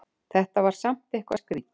Þetta var samt eitthvað skrítið.